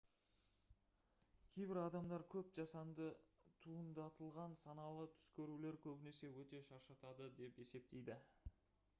кейбір адамдар көп жасанды туындатылған саналы түс көрулер көбінесе өте шаршатады деп есептейді